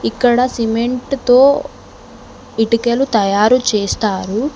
ఇక్కడ సిమెంట్ తో ఇటికలు తయారు చేస్తారు.